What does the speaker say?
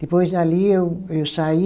Depois, ali, eu eu saí.